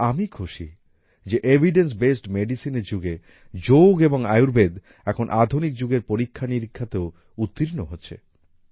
কিন্তু আমি খুশি যে এভিডেন্স বেসড মেডিসিন এর যুগে যোগ এবং আয়ুর্বেদ এখন আধুনিক যুগের পরীক্ষানিরীক্ষাতেও উত্তীর্ণ হচ্ছে